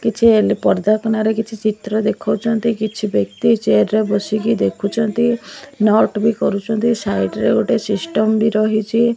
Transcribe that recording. କିଛି ଏଲ୍ ପରଦା କନାରେ କିଛି ଚିତ୍ର ଦେଖୋଉଚନ୍ତି କିଛି ବ୍ୟକ୍ତି ଚିଆର ର ର ବସିକି ଦେଖୁଚନ୍ତି ନଟ ବି କରୁଚନ୍ତି ସାଇଟ୍ ରେ ଗୋଟେ ସିଷ୍ଟମ୍ ବି ରହିଚି।